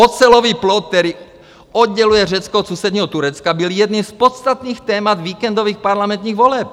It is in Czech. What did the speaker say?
Ocelový plot, který odděluje Řecko od sousedního Turecka, byl jedním z podstatných témat víkendových parlamentních voleb.